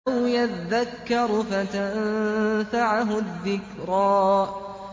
أَوْ يَذَّكَّرُ فَتَنفَعَهُ الذِّكْرَىٰ